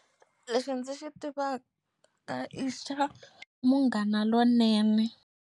Lexi ndzi xi tivaka ka i xa Munghana Lonene.